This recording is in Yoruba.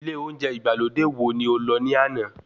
Ilé oúnjẹ ìgbàlódé wo ni o lọ ní àná?